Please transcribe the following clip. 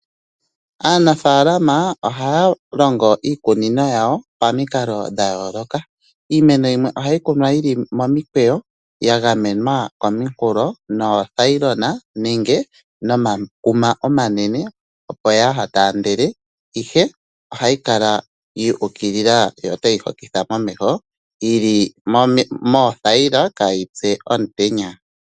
Aanafalama ohaalongo iikunino yawo pamikalo dha yooloka, iimeno yimwe ohayi kunwa yi li momikweyo yagamenwa kominkulo noolayilona nenge nomakuma omanene opo yataandele ihe yikale yuukilila yi hokithe momeho yili kohi yoothayila kaa yitse omutenya.